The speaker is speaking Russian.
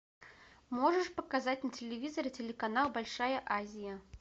можешь показать на телевизоре телеканал большая азия